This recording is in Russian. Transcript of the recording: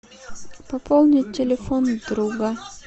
пополнить телефон друга